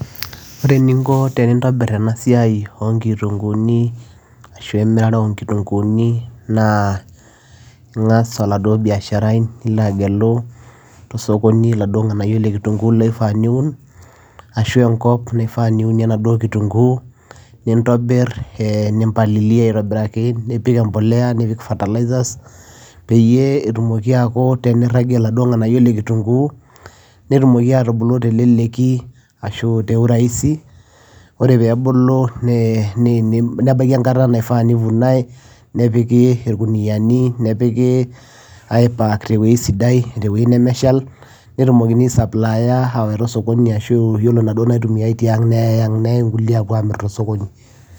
Oree eninko peyiee intobir enaa siai imirataa ooo nkitunguni naa ingas oladuoo biasharai olo osokonii nigeluu irnganayio sidaini ooifaa niun ashua enkop niunie enaduoo kitunguu nintobir nimbalia aitobirakii nipik mbolea fertiliser peyiee eebulu inganayio teleleki oree peyiee ebulu nebaikii enkata naivunai nepiki eweujii sidai peyiee eyeai osokoni neyai inkulie ang